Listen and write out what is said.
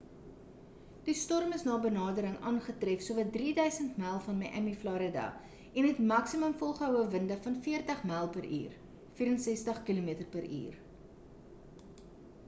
die storm is na benadering aangetref sowat 3 000 myl van miami florida en het maksimum volgehoue winde van 40 m.p.u 64 km/h